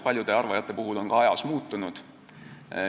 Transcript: Paljude arvajate arvamused on ka aja jooksul muutunud.